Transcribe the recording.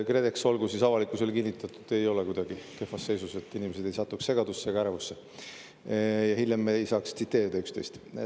KredEx, olgu siis avalikkusele kinnitatud, ei ole kuidagi kehvas seisus, et inimesed ei satuks segadusse ega ärevusse ja hiljem me ei saaks tsiteerida üksteist.